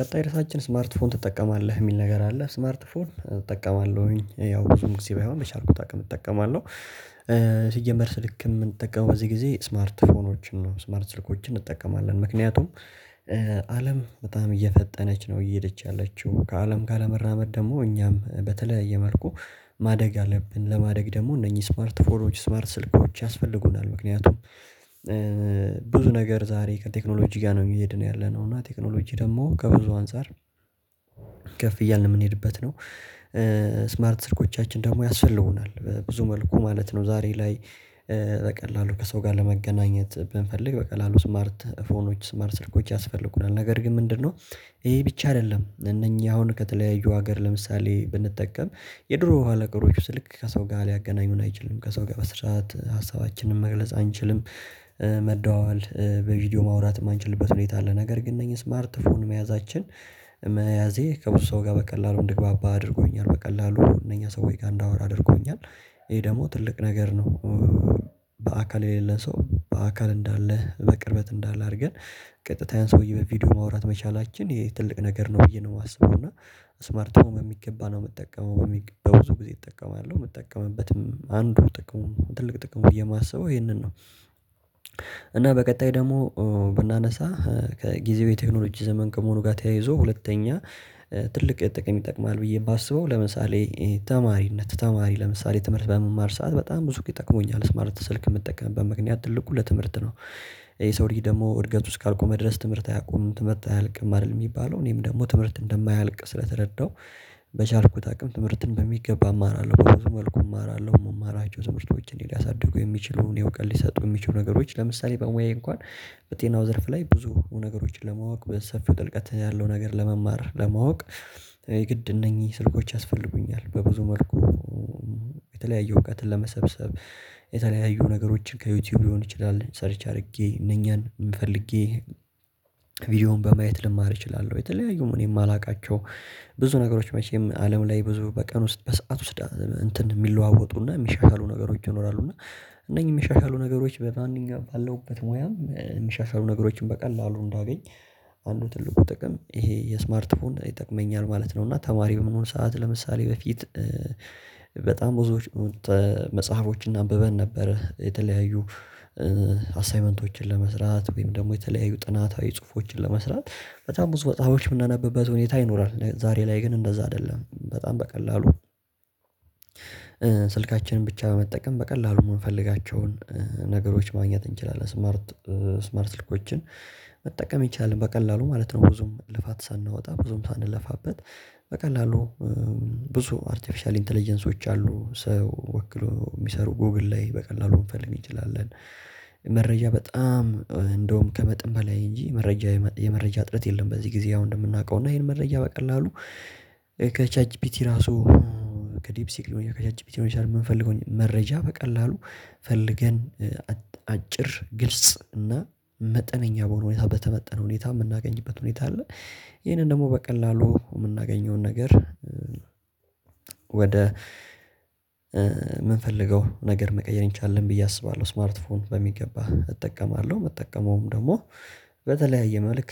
ቀጣይ ርዕሳችን ስማርት ፎን ትጠቀማለህ ሚል ነገር አለ ስማርት ፎን እጠቀማለሁኝ ያው ብዙም ጊዜ ባይሆን በቻልኩት አቅም እጠቀማለሁ። ሲጀመር ስልክ ምንጠቀመው በዚህ ጊዜ ስማርት ፎኖችን ነው። ስማርት ስልኮችን እንጠቀማለን። ምክንያቱም አለም በጣም እየፈጠነች ነው እየሄደች ያለችው ከአለም ጋር ለመራመድ ደግሞ እኛም በተለያየ መልኩ ማደግ አለብን ለማደግ ደግሞ እነኚህ ስማርት ፎርሞች ስማርት ስልኮች ያስፈልጉናል። ምክንያቱም ብዙ ነገር ዛሬ ቴክኖሎጂ ጋር ነው እየሄድን ያለነው እና ቴክኖሎጂ ደግሞ ከብዙ አንፃር ከፍ እያልን የምንሄድበት ነው ስማርት ስልኮቻችን ደግሞ ያስፈልጉናል ብዙ መልኩ ማለት ነው ዛሬ ላይ በቀላሉ ከሰው ጋር ለመገናኘት ብንፈልግ በቀላሉ ስማርት ፎኖች ስማርት ስልኮች ያስፈልጉናል ነገር ግን ምንድነው ይሄ ብቻ አይደለም እነኚህ አሁን ከተለያዩ ሀገር ለምሳሌ ብንጠቀም የድሮ የሆኑ ነገሮች ስልክ ከሰው ጋር ሊያገናኙን አይችሉም ከሰው ጋር በስርዓት ሀሳባችንን መግለጽ አንችልም መደዋወል በቪዲዮ ማውራት የማንችልበት ሁኔታ አለ ነገር ግን እነዚህ ስማርትፎን መያዛችን መያዜ ከብዙ ሰው ጋር በቀላሉ እንድግባባ አድርጎኛል በቀላሉ እነኛ ሰውዬ ጋር እንዳወራ አድርጎኛል ብዙ ነገር ዛሬ ከቴክኖሎጂ ጋር ነው እየሄድን ያለነው እና ቴክኖሎጂ ደግሞ ከብዙ አንፃር ከፍ እያልን የምንሄድበት ነው ስማርት ስልኮቻችን ደግሞ ያስፈልጉናል ብዙ መልኩ ማለት ነው ዛሬ ላይ በቀላሉ ከሰው ጋር ለመገናኘት ብንፈልግ በቀላሉ ስማርት ፎኖች ስማርት ስልኮች ያስፈልጉናል ነገር ግን ምንድነው እና በቀጣይ ደግሞ ብናነሳ ከጊዜው የቴክኖሎጂ ዘመን ከመሆኑ ጋር ተያይዞ ሁለተኛ ትልቅ ጥቅም ይጠቅማል ብዬ የማስበው ለምሳሌ ተማሪነት ተማሪ ለምሳሌ ትምህርት በምማር ሰዓት በጣም ብዙ ጊዜ ይጠቅመኛል ስማርት ስልክ የምጠቀምበት ምክንያት ትልቁ ለትምህርት ነው የሰው ልጅ ደግሞ እድገቱ እስካቆመ ድረስ ትምህርት አያቆምም ትምህርት አያልቅም አይደል የሚባለው እኔም ደግሞ ትምህርት እንደማያልቅ ስለተረዳሁ በቻልኩት አቅም ትምህርትን በሚገባ እማራለሁ መልኩ እማራለሁ የምማራቸው ትምህርቶች እኔን ሊያሳድጉ የሚችሉ እውቀት ሊሰጡ የሚችሉ ነገሮች ለምሳሌ በሙያዬ እንኳን በጤናው ዘርፍ ላይ ብዙ ነገሮችን ለማወቅ በሰፊው ጥልቀት ያለው ነገር ለመማር ለማወቅ የግድ እነኚህ ስልኮች ያስፈልጉኛል በብዙ መልኩ የተለያዩ እውቀትን ለመሰብሰብ የተለያዩ ነገሮችን ከዩቲዩብ ሊሆን ይችላል ሰርች አድርጌ እነኛን ፈልጌ ቪዲዮውን በማየት ልማር እችላለሁ የተለያዩም እኔ የማላውቃቸው ብዙ ነገሮች መቼም አለም ላይ ብዙ በቀን ውስጥ በሰአት ውስጥ እንትን የሚለዋወጡና የሚሻሻሉ ነገሮች ይኖራሉ እና እነኚህ የሚሻሻሉ ነገሮች በማንኛውም ባለሁበት ሙያም የሚሻሻሉ ነገሮችን በቀላሉ እንዳገኝ አንዱ ትልቁ ጥቅም ይሄ የስማርት ፎን ይጠቅመኛል ማለት ነው እና ተማሪ በመሆን ሰዓት ለምሳሌ በፊት በጣም ብዙዎች መጽሐፎችና አንበበን ነበረ የተለያዩ ለመስራት ወይም ደግሞ የተለያዩ ጥናታዊ ጽሁፎችን ለመስራት በጣም ብዙ መጽሐፎችን የምናነብበት ሁኔታ ይኖራል ዛሬ ላይ ግን እንደዛ አይደለም በጣም በቀላሉ ስልካችንን ብቻ በመጠቀም በቀላሉ የምንፈልጋቸውን ነገሮች ማግኘት እንችላለን ስማርት ስማርት ስልኮችን መጠቀም ይቻላል በቀላሉ ማለት ነው ብዙም ልፋት ሳንወጣ ብዙም ሳንለፋበት በቀላሉ ብዙ አርቲፊሻል ኢንተለጀንሶች አሉ ሰው ወክሎ የሚሰሩ ጎግል ላይ በቀላሉ መፈለግ እችላለን መረጃ በጣም እንደውም ከመጠን በላይ እንጂ መረጃ የመረጃ እጥረት የለም በዚህ ጊዜ አሁን እንደምናውቀው እና ይሄን መረጃ በቀላሉ ከቻት ጂፒቲ ራሱ ከዲፕሲክ ሊሆን ይችላል እያከቻችብኝ ይሆንሻል የምንፈልገው መረጃ በቀላሉ ፈልገን አጭር ግልጽ እና መጠነኛ በሆነ ሁኔታ በተመጠነ ሁኔታ የምናገኝበት ሁኔታ አለ ይሄንን ደግሞ በቀላሉ የምናገኘውን ነገር ወደ ምንፈልገው ነገር መቀየር እንችላለን ብዬ አስባለሁ ስማርት ፎን በሚገባ እጠቀማለሁ የምጠቀመውም ደግሞ በተለያየ መልክ